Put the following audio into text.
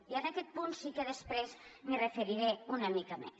i a aquest punt sí que després m’hi referiré una mica més